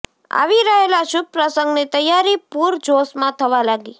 આવી રહેલા શુભ પ્રસંગની તૈયારી પૂર જોશમાં થવા લાગી